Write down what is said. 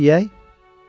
Yemək yeyək?